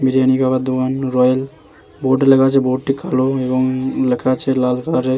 বিরিয়ানি খাওয়ার দোকান royal board -এ লেখা আছে । বোড কালো এবং লেখা আছে লাল রঙের ।